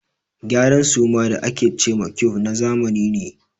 Gyaran suma da a ke ce ma ƙuif na zamani ne.